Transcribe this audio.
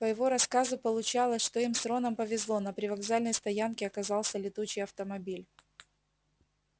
по его рассказу получалось что им с роном повезло на привокзальной стоянке оказался летучий автомобиль